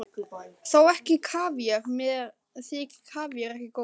Þó ekki kavíar, mér þykir kavíar ekki góður.